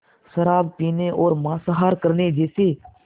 शराब पीने और मांसाहार करने जैसे